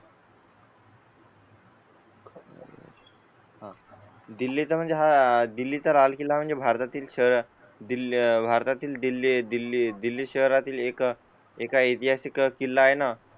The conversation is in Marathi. हा दिल्ली चा म्हणजे हा दिल्ली चा लाल किल्ला म्हणजे भारतातील सह दिल्ली, भारतातील दिल्ली, दिल्ली, दिल्ली शहरातील एक एका ऐतिहासिक किल्ला आहे ना?